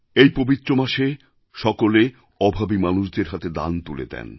এই পবিত্র মাসে সকলে অভাবী মানুষদের হাতে দান তুলে দেন